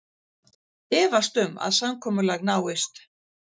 Efast um að samkomulag náist